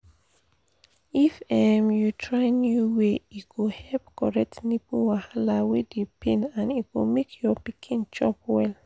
if um you try new way e go help correct nipple wahala wey dey pain and e go make your pikin chop well